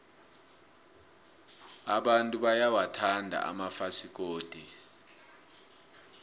abantu bayawathanda amafasikodi